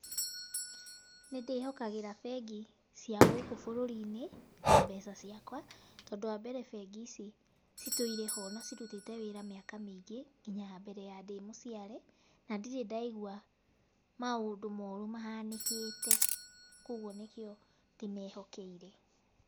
Nĩndĩhokagĩra bengi cia gũkũ bũrũri-inĩ, na mbeca ciakwa, tondũ wa mbere bengi ici citũire ho na cirutĩte wĩra mĩaka mĩingĩ, nginya mbere wa ndĩ mũciare, na ndirĩ ndaigua, maũndũ moru mahanĩkĩte, koguo nĩkĩo ndĩmehokeire.